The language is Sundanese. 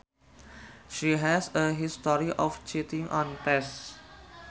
She has a history of cheating on tests